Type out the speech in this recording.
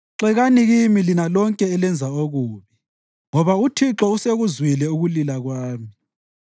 Xekani kimi lina lonke elenza okubi, ngoba uThixo usekuzwile ukulila kwami.